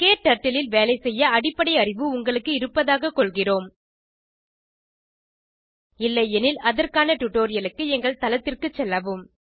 க்டர்ட்டில் ல் வேலைசெய்ய அடிப்படை அறிவு உங்களுக்கு இருப்பதாகக் கொள்கிறோம் இல்லையெனில் அதற்கான டுடோரியலுக்கு எங்கள் தளத்திற்கு செல்லவும்